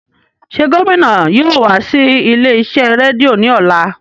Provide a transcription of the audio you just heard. Ṣe gomina yóò wa si ile-iṣẹ redio ni ọla?